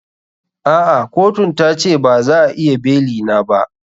A'a kotun ta ce ba za a iya beli na ba.